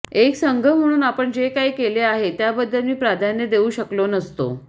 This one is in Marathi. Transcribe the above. एक संघ म्हणून आपण जे काही केले आहे त्याबद्दल मी प्राधान्य देऊ शकलो नसतो